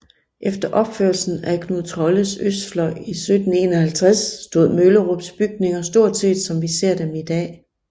Efter opførelsen af Knud Trolles østfløj i 1751 stod Møllerups bygninger stort set som vi ser dem i dag